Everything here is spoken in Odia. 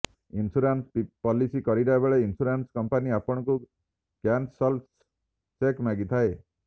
ଇନସ୍ୟୁରାନ୍ସ ପଲିସି କରିବାବେଳେ ଇନସ୍ୟୁରାନ୍ସ କମ୍ପାନୀ ଆପଣଙ୍କୁ କ୍ୟାନସଲ୍ଡ ଚେକ୍ ମାଗିଥାଏ